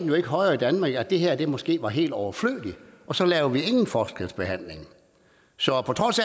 jo ikke højere i danmark end at det her var måske helt overflødigt og så lavede vi ingen forskelsbehandling så på trods